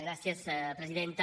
gràcies presidenta